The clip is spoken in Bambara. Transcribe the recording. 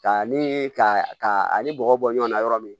Ka ni ka ka ani bɔgɔ bɔ ɲɔgɔn na yɔrɔ min